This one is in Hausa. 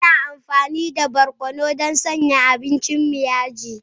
Ana amfani da barkono don sanya abincin mu yaji.